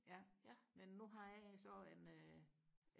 ja men nu har jeg så en øh